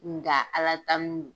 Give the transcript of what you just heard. Nga Ala tanu don.